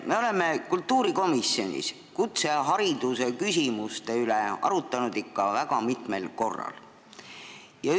Me oleme kultuurikomisjonis kutsehariduse küsimuste üle ikka väga mitmel korral arutanud.